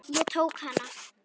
Ég tók hana.